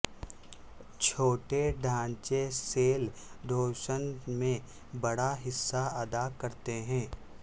چھوٹے ڈھانچے cell division میں بڑا حصہ ادا کرتے ہیں